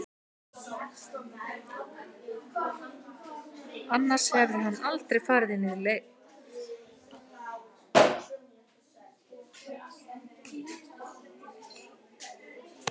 Annars hefði hann aldrei farið inn Sagði Gísli léttur eftir leik